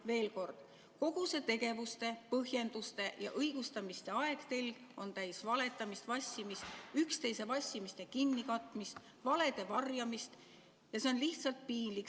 Veel kord: kogu see tegevuste, põhjenduste ja õigustamiste ajatelg on täis valetamist, vassimist, üksteise vassimiste kinnikatmist, valede varjamist ja see on lihtsalt piinlik.